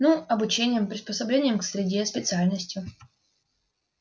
ну обучением приспособлением к среде специальностью